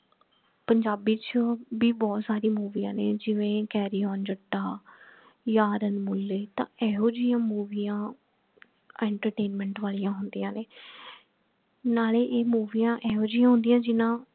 ਪੰਜਾਬੀ ਚ ਭੀ ਬਹੁਤ ਸਾਰੀ ਮੂਵੀਆਂ ਨੇ ਜਿਵੇਂ carry on jatta yaar amulet ਤਾਂ ਇਹੋਜੀਆਂ ਮੂਵੀਆਂ entertainment ਵਾਲਿਆਂ ਹੁੰਦੀਆਂ ਨੇ ਨਾਲੇ ਇਹ ਮੂਵੀਆਂ ਇਹੋਜੀਆਂ ਹੁੰਦੀਆਂ ਜਿਹਨਾਂ